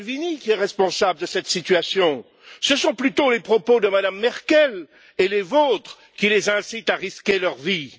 Salvini qui est responsable de cette situation, ce sont plutôt les propos de Mme Merkel et les vôtres qui les incitent à risquer leur vie.